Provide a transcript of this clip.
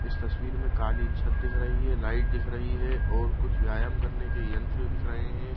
इस तस्वीर मे काली छत दिख रही है लाइट दिख रही है और कुछ व्यायाम करने के यंत्र दिख रहे हैं।